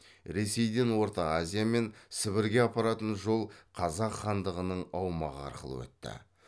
ресейден орта азия мен сібірге апаратын жол қазақ хандығының аумағы арқылы өтті